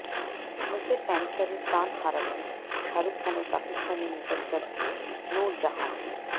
মুখের ক্যান্সারে প্রাণ হারালেন শাহরুখ খানের পাকিস্তানের নিকটাত্মীয় নূর জাহান